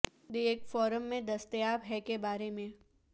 د ایک فارم میں دستیاب ہے کے بارے میں